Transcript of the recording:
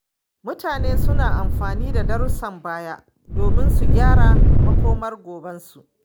Mutane suna amfani da darussan baya domin su gyara makomar gobensu.